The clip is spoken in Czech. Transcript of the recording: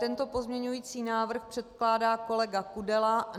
Tento pozměňující návrh předkládá kolega Kudela.